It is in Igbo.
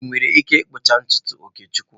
Ị nwere ike ịkpụcha ntutu Okechukwu?